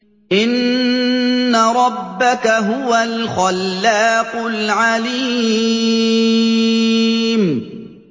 إِنَّ رَبَّكَ هُوَ الْخَلَّاقُ الْعَلِيمُ